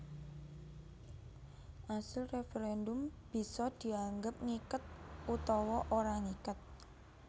Asil referendum bisa dianggep ngiket utawa ora ngiket